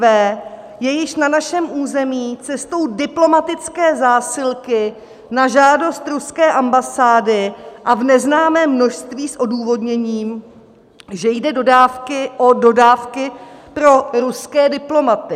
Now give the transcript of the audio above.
V je již na našem území cestou diplomatické zásilky na žádost ruské ambasády a v neznámém množství s odůvodněním, že jde o dodávky pro ruské diplomaty.